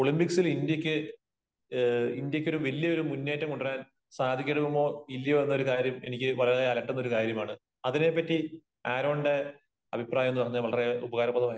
ഒളിമ്പിക്സിൽ ഇന്ത്യക്ക്, ഇന്ത്യക്ക് വലിയ ഒരു മുന്നേറ്റം കൊണ്ടുവരാൻ സാധിക്കുമോ ഇല്ലയോ എന്നഒരു കാര്യം എനിക്ക് വളരെ അലട്ടുന്ന ഒരു കാര്യമാണ്. അതിനെപറ്റി ആരോണിന്റെ അഭിപ്രായം ഒന്ന് പറഞ്ഞാൽ വളരെ ഉപകാരപ്രദമാകും.